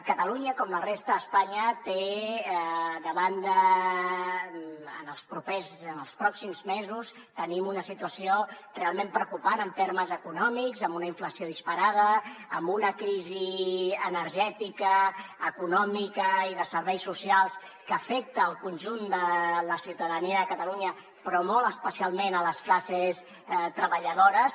catalunya com la resta d’espanya té de banda en els pròxims mesos tenim una situació realment preocupant en termes econòmics amb una inflació disparada amb una crisi energètica econòmica i de serveis socials que afecta el conjunt de la ciutadania de catalunya però molt especialment les classes treballadores